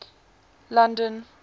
london